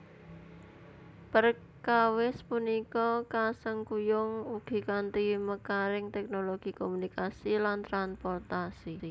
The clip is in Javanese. Perkawis punika kasengkuyung ugi kanthi mekaring teknologi komunikasi lan transportasi